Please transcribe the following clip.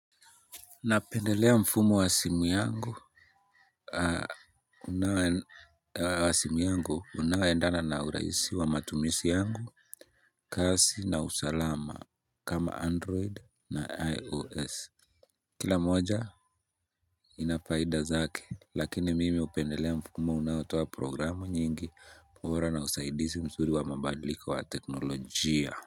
Napendelea mfumo wa simu yangu unaoendana na urahisi wa matumizi yangu kazi na usalama kama android na ios. Kila moja ina faida zake lakini mimi hupendelea mfumo unaotoa programu nyingi bora na usaidizi mzuri wa mabadliko wa teknolojia.